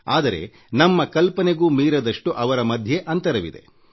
ಆದರೆ ನಮ್ಮ ಕಲ್ಪನೆಗೂ ಮೀರದಷ್ಟು ಅವರ ಮಧ್ಯೆ ಅಂತರವಿದೆ